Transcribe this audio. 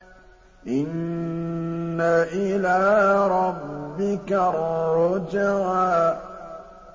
إِنَّ إِلَىٰ رَبِّكَ الرُّجْعَىٰ